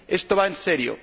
Esto va en serio.